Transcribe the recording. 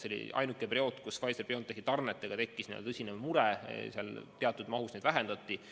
See oli ainuke periood, kus Pfizer/BioNTechi tarnetega tekkis meil tõsine mure, sest tarneid vähendati.